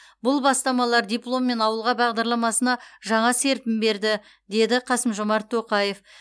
бұл бастамалар дипломммен ауылға бағдарламасына жаңа серпін берді деді қасым жомарт тоқаев